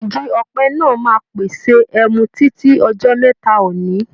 Igi òpẹ náà máa pèsè ẹmu títí ọjọ́ mẹ́ta òní.